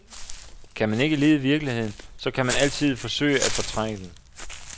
Kan man ikke lide virkeligheden, så kan man altid forsøge at fortrænge den.